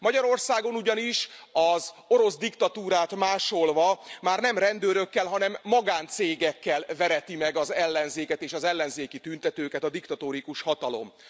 Magyarországon ugyanis az orosz diktatúrát másolva már nem rendőrökkel, hanem magáncégekkel vereti meg az ellenzéket és az ellenzéki tüntetőket a diktatórikus hatalom.